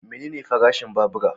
Menene farashin babura?